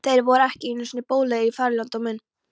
Þeir voru ekki einu sinni boðlegir í þrældóminn!